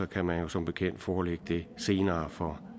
kan man jo som bekendt forelægge det senere for